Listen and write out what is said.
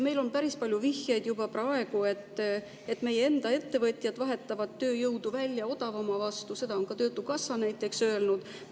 Meil on päris palju vihjeid juba praegu, et meie enda ettevõtjad vahetavad tööjõudu välja odavama vastu, seda on ka töötukassa näiteks öelnud.